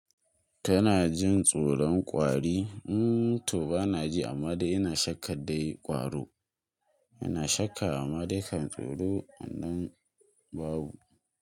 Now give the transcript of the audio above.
Kana jin tsoron ƙwari? Hmm to bana ji, amma dai ina shakka dai ƙwaro. Ina shakka amma dai kan tsoro wannan babu.